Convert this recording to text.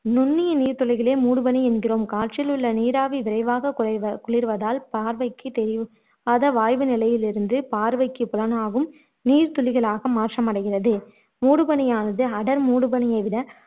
நுண்ணிய நீர்த்துளிகளையே மூடுபனி என்கிறோம் காற்றில் உள்ள நீராவி விரைவாக குறை குளிர்வதால் பார்வைக்கு தெரி வாய்வு நிலையில் இருந்து பார்வைக்கு புலனாகும் நீர்த்துளிகளாக மாற்றமடைகிறது மூடுபனியானது அடர் மூடுபனியை விட